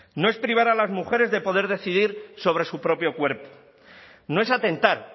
no es privar a las mujeres de poder decidir sobre su propio cuerpo no es atentar